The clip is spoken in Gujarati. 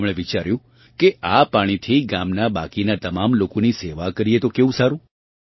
તેમણે વિચાર્યું કે આ પાણીથી ગામના બાકીનાં તમામ લોકોની સેવા કરીએ તો કેવું સારું